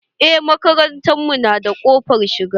Eh makarantar mu na da ƙofar shiga.